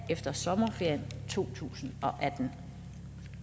efter sommerferien to tusind og atten